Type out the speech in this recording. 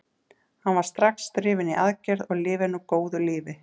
Hann var strax drifinn í aðgerð og lifir nú góðu lífi.